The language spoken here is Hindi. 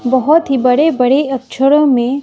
बहोत ही बड़े बड़े अक्षरों में--